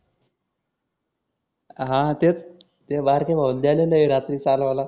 हा तेच त्या बारक्या भाऊ ला द्यालेलं आहे रात्री चालवायला.